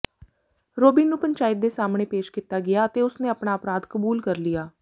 Robin ਨੂੰ ਪੰਚਾਇਤ ਦੇ ਸਾਹਮਣੇ ਪੇਸ਼ ਕੀਤਾ ਗਿਆ ਅਤੇ ਉਸਨੇ ਆਪਣਾ ਅਪਰਾਧ ਕਬੂਲ ਕਰ ਲਿਆ